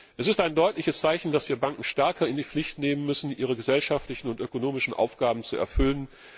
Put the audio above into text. Es ist ein deutliches Zeichen, dass wir Banken stärker in die Pflicht nehmen müssen, ihre gesellschaftlichen und ökonomischen Aufgaben zu erfüllen.